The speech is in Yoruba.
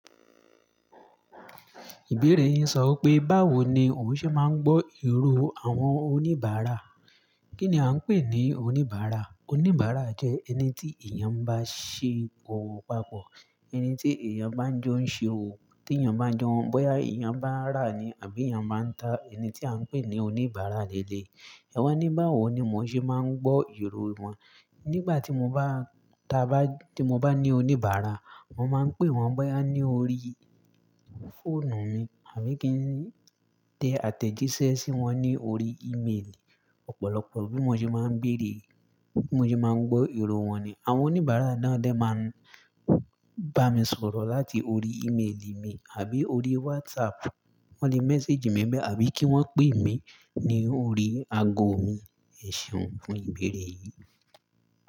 Ìbéèrè yín sọ wipé, báwo ni o ohun ṣe máa ń gbọ́ irò àwọn oníbàárà? Kí ni a ń pè ní oníbàárà? Oníbàárà jẹ́ ẹni tí èèyàn bá ṣe owọ̀ papọ̀, ẹni tí èèyàn bá ń jọ ń ṣe òwò, tí èèyàn bá ń jo n, bóyá èèyàn bá ń rà ni àbí èèyàn bá ń ta. Ẹni tí à ń pè ní oníbàárà rere. Ẹwà ní, báwo ni mo ṣe máa ń gbọ́ irò wọn? Nígbà tí mo bá, tí a bá, ti mo ba ní oníbàárà, mo máa ń pè wọ́n bóyá ní orí fóònù mi àbí kí n tẹ àtẹ̀jíṣẹ́ sí wọn ní orí emaili. Ọ̀pọ̀lọpọ̀ bí mo ṣe máa ń béèrè, bí mo ṣe máa ń gbọ́ irò wọn ni. Àwọn oníbàárà náà de máa ń bá mi sọ̀rọ̀ láti orí emaili mi àbí orí WhatsApp. Wọ́n lè message mi nibẹ̀ àbí kí wọ́n pé mi ní orí ago mi. Ẹ̀ṣeun fún ìbéèrè yìí.